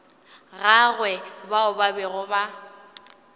gagwe bao ba bego ba